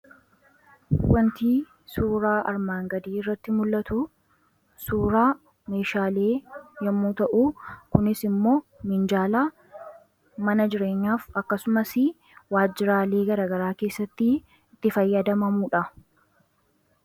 Wanti suuraa armaan gadii irratti mul'atu, suuraa meeshaalee yommuu ta'u kunis immoo minjaala mana jireenyaaf akkasumas waajjiraalii garagaraa keessatti itti fayyadamaniidha.